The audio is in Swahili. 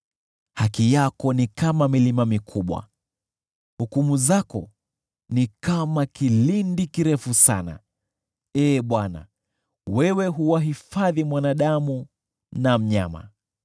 Haki yako ni kama milima mikubwa, hukumu zako ni kama kilindi kikuu. Ee Bwana , wewe huwahifadhi mwanadamu na mnyama.